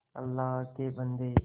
अल्लाह के बन्दे